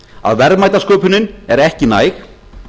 að verðmætasköpunin er ekki næg